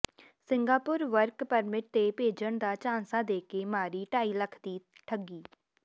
Singapore work permit ਤੇ ਭੇਜਣ ਦਾ ਝਾਂਸਾ ਦੇ ਕੇ ਮਾਰੀ ਢਾਈ ਲੱਖ ਦੀ ਠੱਗੀ